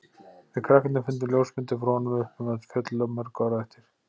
Við krakkarnir fundum ljósmyndir frá honum uppi um öll fjöll í mörg ár á eftir.